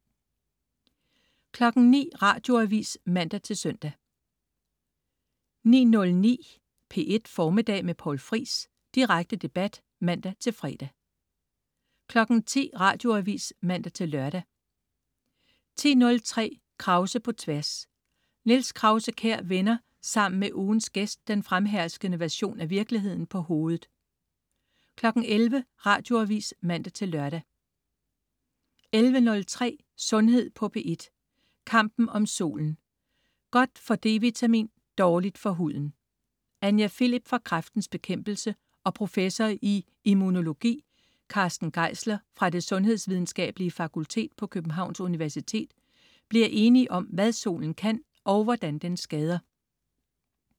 09.00 Radioavis (man-søn) 09.09 P1 Formiddag med Poul Friis. Direkte debat (man-fre) 10.00 Radioavis (man-lør) 10.03 Krause på Tværs. Niels Krause-Kjær vender sammen med ugens gæst den fremherskende version af virkeligheden på hovedet 11.00 Radioavis (man-lør) 11.03 Sundhed på P1. Kampen om solen. Godt for d-vitamin og dårligt for huden. Anja Philip fra Kræftens Bekæmpelse og professor i immunologi Carsten Geisler fra Det sundhedsvidenskabelige fakultet på Københavns Universitet bliver enige om, hvad solen kan og hvordan den skader